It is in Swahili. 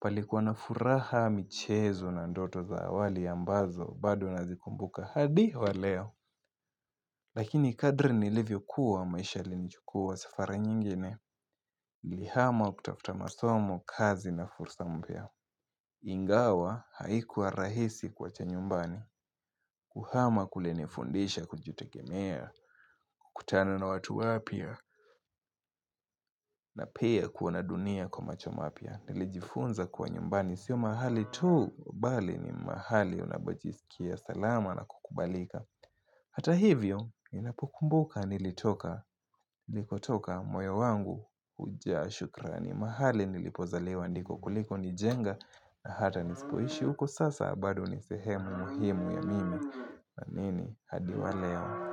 Palikuwa na furaha michezo na ndoto za awali ambazo, bado nazikumbuka hadi wa leo, lakini kadri nilivyokuwa maisha yalinochukua safara nyingine niliihama kutafuta masomo kazi na fursa mpia Ingawa haikuwa rahisi kuwacha nyumbani Kuhama kulinifundisha kujitegemea, kukutana na watu wapya na pia kuona dunia kwa macho mapya Nilijifunza kuwa nyumbani sio mahali tu Bali ni mahali unapojisikia salama na kukubalika Hata hivyo, ninapokumbuka nilikotoka moyo wangu hujaa shukraani. Mahali nilipozaliwa ndiko kuliko nijenga na hata nisipoishi huko sasa bado ni sehemu muhimu ya mimi. Amini hadi waleo.